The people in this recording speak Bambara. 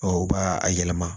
u b'a a yɛlɛma